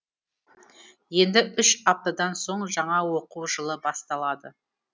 енді үш аптадан соң жаңа оқу жылы басталады